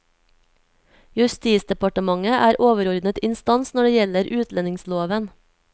Justisdepartementet er overordnet instans når det gjelder utlendingsloven.